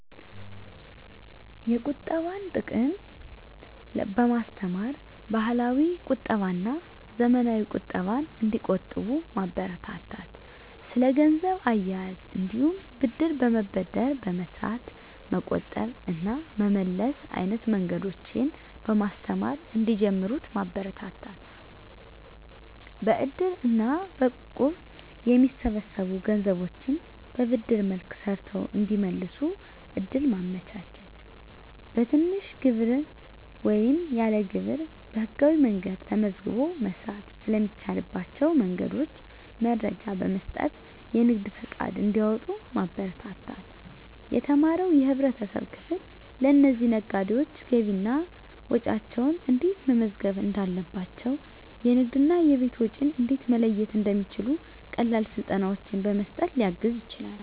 የቁጠባን ጥቅም በማስተማር፣ ባህላዊ ቁጠባና ዘመናዊ ቁጠባን እንዲቆጥቡ ማበረታታት። ስለ ገንዘብ አያያዝ እንዲሁም ብድር በመበደር በመስራት መቆጠብ እና መመለስ አይነት መንገዶችን በማስተማር እንዲጀምሩት ማበረታታት። በእድር እና በእቁብ የሚሰበሰቡ ገንዘቦችን በብድር መልክ ሰርተው እንዲመልሱ እድል ማመቻቸት። በትንሽ ግብር ወይም ያለ ግብር በህጋዊ መንገድ ተመዝግቦ መስራት ስለሚቻልባቸው መንገዶች መረጃ በመስጠት የንግድ ፈቃድ እንዲያወጡ ማበረታታት። የተማረው የህብረተሰብ ክፍል ለእነዚህ ነጋዴዎች ገቢና ወጪያቸውን እንዴት መመዝገብ እንዳለባቸው፣ የንግድና የቤት ወጪን እንዴት መለየት እንደሚችሉ ቀላል ስልጠናዎችን በመስጠት ሊያግዝ ይችላል።